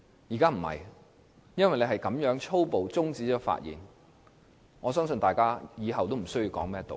現在卻不是這樣，因為主席粗暴地中止發言，我相信大家以後也無須再說甚麼道理了。